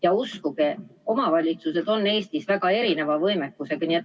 Ja uskuge, omavalitsused on Eestis väga erineva võimekusega.